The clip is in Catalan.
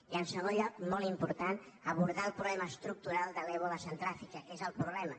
i en segon lloc molt important abordar el problema estructural de l’ebola a centre àfrica que és el problema